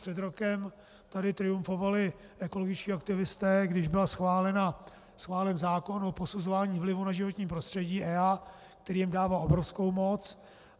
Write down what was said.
Před rokem tady triumfovaly ekologičtí aktivisté, když byl schválen zákon o posuzování vlivů na životní prostředí EIA, který jim dává obrovskou moc.